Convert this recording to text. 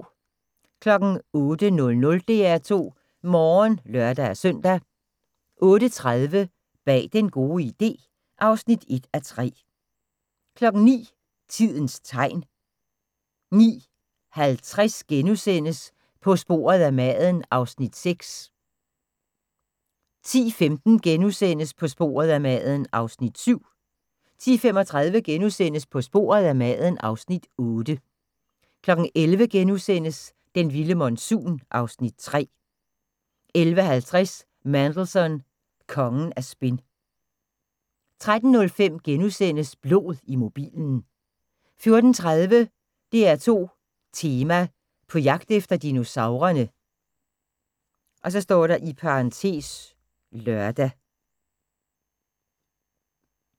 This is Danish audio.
08:00: DR2 Morgen (lør-søn) 08:30: Bag den gode idé (1:3) 09:00: Tidens tegn 09:50: På sporet af maden (Afs. 6)* 10:15: På sporet af maden (Afs. 7)* 10:35: På sporet af maden (Afs. 8)* 11:00: Den vilde monsun (Afs. 3)* 11:50: Mandelson – kongen af spin 13:05: Blod i mobilen * 14:30: DR2 Tema: På jagt efter dinosaurerne (lør)